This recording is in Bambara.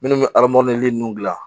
Minnu bɛ nun gilan